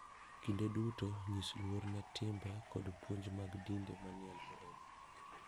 Kinde duto nyis luor ne timbe koda puonj mag dinde manie alworau.